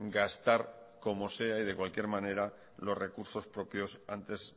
gastar como sea y de cualquier manera los recursos propios antes